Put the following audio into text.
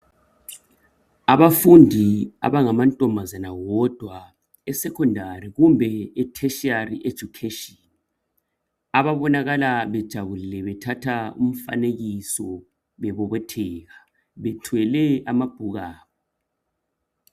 Abafundi abangamantombazana wodwa eSecondary kumbe eTertiary education ababonakala bejabulile bethatha umfanekiso, bebobotheka bethwele amabhuku abo.